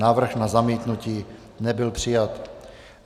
Návrh na zamítnutí nebyl přijat.